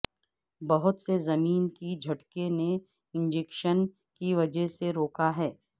بہت سے زمین کی جھٹکے نے انجکشن کی وجہ سے روکا ہے